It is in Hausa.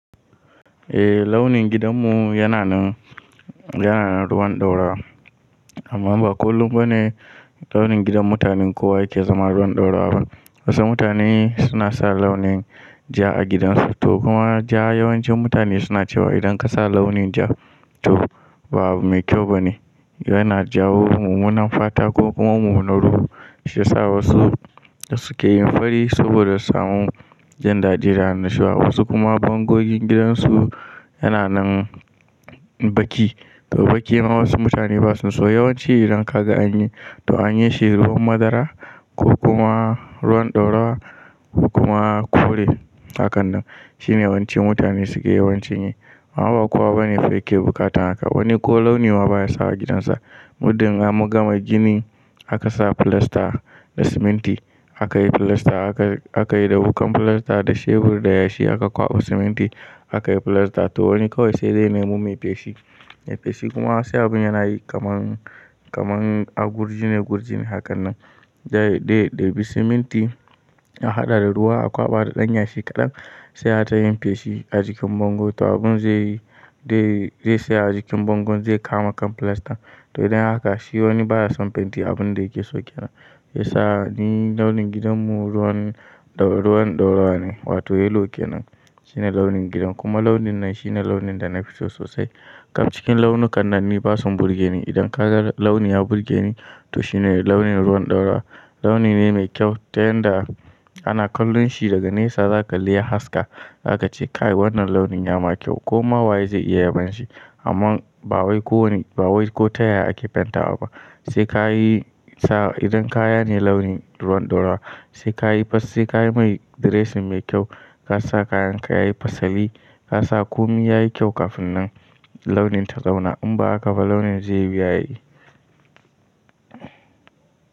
Eh launin gidanmu yana nan, yana nan ruwan ɗaurawa amma ba kullum ba ne launin gidan mutanen kowa yake zama ruwan ɗaura ba. Wasu mutane suna sa launin ja a gidansu to kuma ja yawancin mutane suna cewa idan ka sa launin ja to ba mai kyau ba ne. Yana jawo mummunan fata ko kuma mummunar ruwa shiyasa wasu suke yin fari saboda samun jin daɗi da annashuwa. Wasu kuma bangogin gidansu yana nan baki to bakin ma wasu mutane basu so. Yawanci idan kaga an yi to an yi shi ruwan madara ko kuma ruwan ɗaurawa ko kuma kore hakan nan. Shine yawanci mutane suke yawanci yi amma ba kowa bane yake bukatan haka. Wani ko launi ma baya sawa gidansa. Muddin an gama gini aka sa filasta da siminti aka yi filasta aka, aka yi da bukan filasta da shebur da yashi aka kwaɓa siminti aka yi filasta to wani kawai sai dai ya nemo mai feshi, mai feshi kuma sai abin yana yi kaman, kaman a gurji ne gurji ne hakan nan. Dai dai, daibi siminti an haɗa da ruwa a kwaɓa da ɗanyashi kaɗan sai ayi ta yin feshi a jikin bango to abun zai yi dai zai tsaya a jikin bango zai kama kan filastan. To idan haka shi wani baya son fenti abun da yake so ke nan shiyasa ni launin gidanmu ruwan, ruwan ɗaurawa ne wato yellow ke nan shine launin gidan kuma launin nan shine launin da na fi so sosai. Kaf cikin launukan nan ni basu burgeni idan kaga launi ya burgeni to shine launin ruwan ɗaura. Launi ne mai kyau ta yadda ana kallon shi daga nesa zaka kalli ya haska zaka ce kai wannan launin ya ma kyau koma waye zai iya yabon shi amma ba wai ko wani, ba wai ko ta ya ake fentawa ba. Sai kayi sa idan kaya ne launin ruwan ɗaurawa sai ka yi fa, sai ka yi mai diresin mai kyau ka sa kayanka yayi fasali ka sa komai yayi kyau kafin nan launin ta zauna in ba haka ba launin zai wuya yayi.